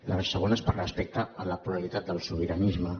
la segona és per respecte a la pluralitat del sobiranisme